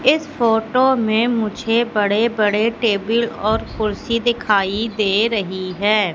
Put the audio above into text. इस फोटो में मुझे बड़े बड़े टेबिल और कुर्सी दिखाई दे रही है।